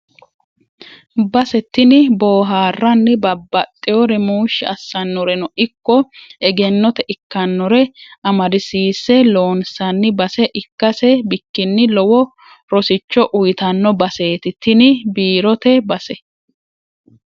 Base tini booharanni babbaxewore muushi assanoreno ikko egennote ikkanore amadisiise loonsanni base ikkase bikkini lowo rosicho uyittano baseti tini biirote base.